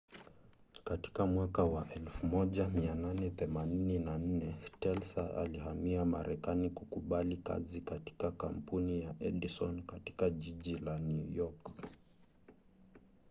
katika mwaka wa 1884 tesla alihamia marekani kukubali kazi katika kampuni ya edison katika jiji la new york